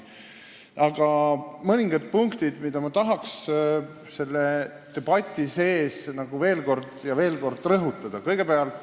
Aga on mõningad punktid, mida ma tahaks selle debati sees veel ja veel kord rõhutada.